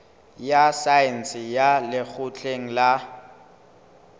ya saense ya lekgotleng la